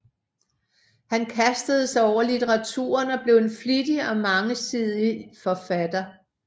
Han kastede sig over litteraturen og blev en flittig og mangesidig forfatter